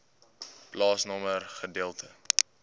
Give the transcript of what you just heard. plaasnommer gedeelte